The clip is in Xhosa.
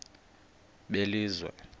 belizwe